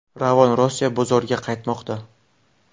Ravon Rossiya bozoriga qaytmoqda.